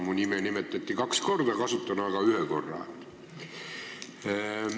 Mu nime nimetati kaks korda, kasutan ära ühe võimaluse.